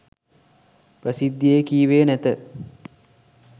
ප්‍රසිද්ධියේ කීවේ නැත.